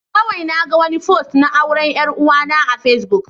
Kawai naga wani fost na auren 'yar uwana a Facebook.